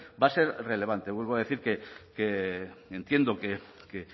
va a ser relevante vuelvo a decir que entiendo que